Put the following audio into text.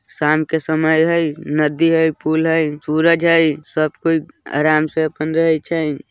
शाम के समय हैय नदी हैय फूल हैय सूरज हैय सब कोई आराम से अपन रहई छई --